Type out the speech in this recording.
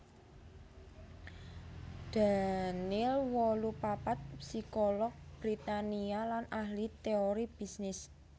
Daniel wolu papat psikolog Britania lan ahli téori bisnis